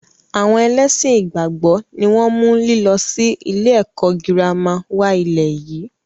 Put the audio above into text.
Àwọn ẹlẹ́ṣin ìgbàgbọ́ ni wọn mú lílọ sì ilé ẹ̀kọ́ girama wá ilẹ̀ yìí.